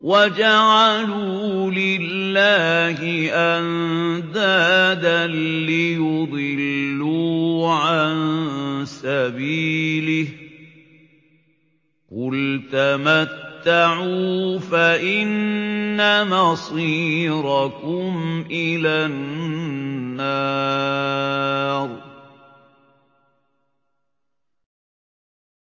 وَجَعَلُوا لِلَّهِ أَندَادًا لِّيُضِلُّوا عَن سَبِيلِهِ ۗ قُلْ تَمَتَّعُوا فَإِنَّ مَصِيرَكُمْ إِلَى النَّارِ